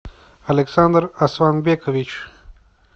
александр асланбекович